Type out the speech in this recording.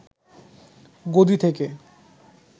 গদি থেকে